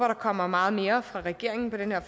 der kommer meget mere fra regeringen på den her